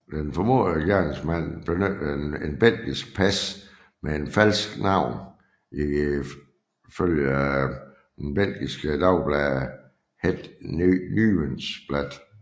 Den formodede gerningsmand benyttede et belgisk pas med et falsk navn ifølge det belgiske dagblad Het Nieuwsblad